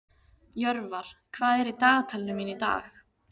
Jörvar, hvað er í dagatalinu mínu í dag?